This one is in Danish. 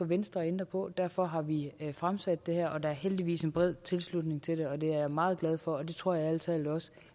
venstre at ændre på og derfor har vi fremsat det her forslag der er heldigvis en bred tilslutning til det og det er jeg meget glad for og det tror jeg ærlig talt også